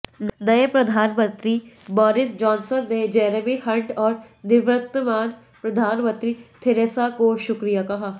नए प्रधानमंत्री Boris Johnson ने जेरेमी हंट और निवर्तमान प्रधानमंत्री थेरेसा मे को शुक्रिया कहा